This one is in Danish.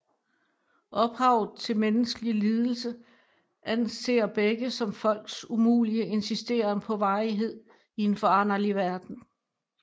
Ophavet til menneskelig lidelse anser begge som folks umulige insisteren på varighed i en foranderlig verden